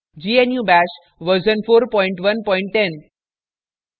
* gnu bash version 4110